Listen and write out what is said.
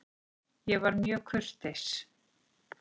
Ég var mjög kurteis.